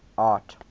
art